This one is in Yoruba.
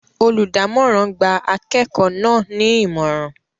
Olùdámọ̀ràn gba akẹ́kọ̀ọ́ náà ní Ìmọ̀ràn